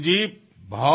চাওক ৰিপুজী